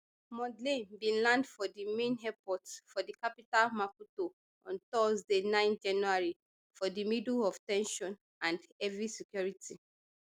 mondlane bin land for di main airport for di capital maputo on thursday nine january for di middle of ten sion and heavy security